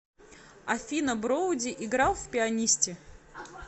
афина броуди играл в пианисте